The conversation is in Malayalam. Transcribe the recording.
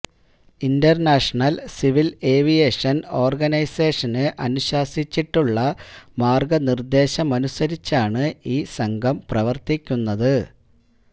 ഇന്റര്നാഷണല് സിവില് ഏവിയേഷന് ഓര്ഗനൈസേഷന് അനുശാസിച്ചിട്ടുള്ള മാര്ഗനിര്ദേശമനുസരിച്ചാണ് ഈ സംഘം പ്രവര്ത്തിക്കുന്നത്